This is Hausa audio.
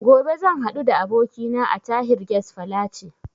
Gobe zan haɗu da abokina a Tahir Guest Falace